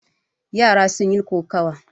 Yara sun yi kokawa.